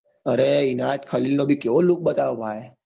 અરે ઇનાયત ખલીલ નો બી કેવી look બતાયો ભાઈ